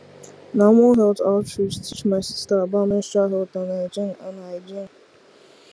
na one health outreach teach my sister about menstrual health and hygiene and hygiene